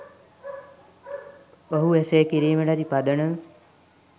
ඔහු එසේ කිරීමට ඇති පදනම